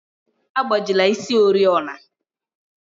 Agbajila isi oriọna!